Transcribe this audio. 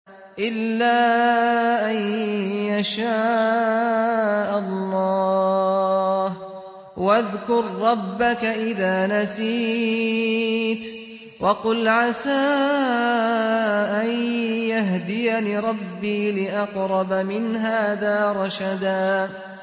إِلَّا أَن يَشَاءَ اللَّهُ ۚ وَاذْكُر رَّبَّكَ إِذَا نَسِيتَ وَقُلْ عَسَىٰ أَن يَهْدِيَنِ رَبِّي لِأَقْرَبَ مِنْ هَٰذَا رَشَدًا